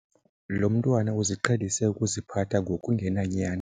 Lo mntwana uziqhelise ukuziphatha ngokungenanyani.